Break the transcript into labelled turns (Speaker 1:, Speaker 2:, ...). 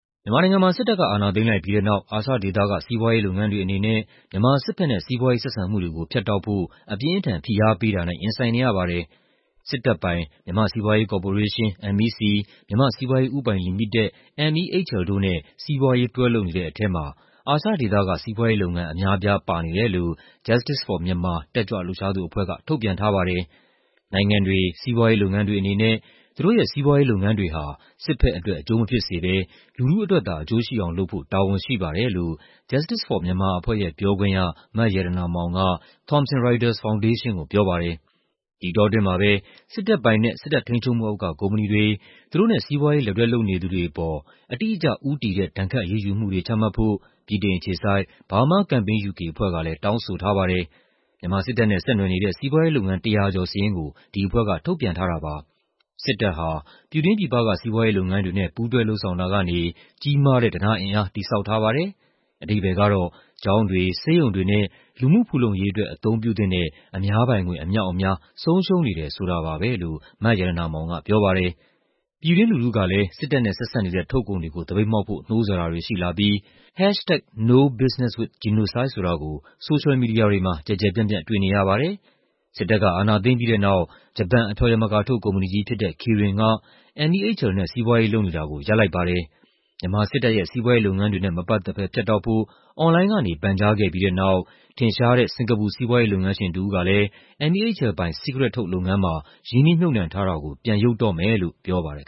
Speaker 1: မြန်မာနိုင်ငံမှာ စစ်တပ်က အာဏာသိမ်းလိုက်ပြီးတဲ့နောက် အာရှဒေသက စီးပွားရေးလုပ်ငန်းတွေအနေနဲ့ မြန်မာစစ်ဘက်နဲ့ စီးပွားရေးဆက်ဆံမှုတွေကို ဖြတ်တောက်ဖို့ အပြင်းအထန် ဖိအားပေးတာနဲ့ ရင်ဆိုင်နေရပါတယ်။ စစ်တပ်ပိုင် မြန်မာ့စီးပွားရေးကော်ပိုရေးရှင်း (MEC)၊ မြန်မာ့စီးပွားရေးဦးပိုင်လီမိတက် (MEHL) တို့နဲ့ စီးပွားရေး တွဲလုပ်နေတဲ့ထဲမှာ အာရှဒေသက စီးပွားရေးလုပ်ငန်းအများအပြား ပါနေတယ်လို့ Justice for Myanmar တက်ကြွလှုပ်ရှားသူအဖွဲ့က ထုတ်ပြန်ထားပါတယ်။ "နိုင်ငံတွေ၊ စီးပွားရေးလုပ်ငန်းတွေအနေနဲ့ သူတို့ရဲ့ စီးပွားရေးလုပ်ငန်းတွေဟာ စစ်ဘက်အတွက် အကျိုးမဖြစ်စေဘဲ လူထုအတွက်သာ အကျိုးရှိအောင်လုပ်ဖို့ တာဝန်ရှိပါတယ်။" လို့ Justice for Myanmar အဖွဲ့ရဲ့ပြောခွင့်ရ မရတနာမောင်က Thomson Reuters ဖောင်ဒေးရှင်းကိုပြောပါတယ်။ ဒီအတောအတွင်းမှာပဲ စစ်တပ်ပိုင်နဲ့ စစ်တပ်ထိန်းချုပ်မှုအောက်က ကုမ္ပဏီတွေ၊ သူတို့နဲ့ စီးပွားရေး လက်တွဲလုပ်နေသူတွေအပေါ် "အတိအကျဦးတည်တဲ့ ဒဏ်ခတ်အရေးယူမှု" တွေချမှတ်ဖို့ ဗြိတိန်အခြေစိုက် Burma Campaign UK အဖွဲ့ကလည်း တောင်းဆိုထားပါတယ်။ မြန်မာစစ်တပ်နဲ့ ဆက်နွယ်နေတဲ့ စီးပွားရေးလုပ်ငန်း ၁၀၀ ကျော်စာရင်းကို ဒီအဖွဲ့က ထုတ်ပြန်ထားတာပါ။ "စစ်တပ်ဟာ ပြည်တွင်းပြည်ပက စီးပွားရေးလုပ်ငန်းတွေနဲ့ ပူးတွဲလုပ်ဆောင်တာကနေ ကြီးမားတဲ့ ဓနအင်အား တည်ဆောက်ထားပါတယ်။ အဓိပ္ပါယ်ကတော့ ကျောင်းတွေ၊ ဆေးရုံတွေနဲ့ လူမှုဖူလုံရေးအတွက် အသုံးပြုသင့်တဲ့ အများပိုင်ငွေ အမြောက်အများ ဆုံးရှုံးနေတယ်ဆိုတာပါပဲ။" လို့ မရတနာမောင်ကပြောပါတယ်။ ပြည်တွင်းလူထုကလည်း စစ်တပ်နဲ့ဆက်စပ်နေတဲ့ ထုတ်ကုန်တွေကို သပိတ်မှောက်ဖို့ နှိုးဆော်တာတွေရှိလာပြီး #NoBusinesswithGenocide ဆိုတာကို ဆိုရှယ်မီဒီယာတွေမှာ ကျယ်ကျယ်ပြန့်ပြန့် တွေ့နေရပါတယ်။ စစ်တပ်က အာဏာသိမ်းပြီးတဲ့နောက် ဂျပန် အဖျော်ယမကာထုတ် ကုမ္ပဏီကြီးဖြစ်တဲ့ Kirin က MEHL နဲ့ စီးပွားရေးလုပ်နေတာကို ရပ်လိုက်ပါတယ်။ မြန်မာစစ်တပ်ရဲ့ စီးပွားရေးလုပ်ငန်းတွေနဲ့ မပတ်သက်ဘဲ ဖြတ်တောက်ဖို့ အွန်လိုင်းကနေ ပန်ကြားခဲ့ပြီးတဲ့နောက် ထင်ရှားတဲ့ စင်္ကာပူ စီးပွားရေးလုပ်ငန်းရှင်တစ်ဦးကလည်း MEHL ပိုင် စီးကရက်ထုတ်လုပ်ငန်းမှာ ရင်းနှီးမြှုပ်နှံထားတာကို ပြန်ရုပ်တော့မယ်လို့ ပြောပါတယ်